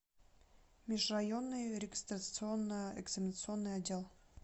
межрайонный регистрационно экзаменационный отдел